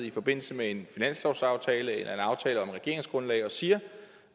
i forbindelse med en finanslovsaftale eller en aftale om regeringsgrundlag og siger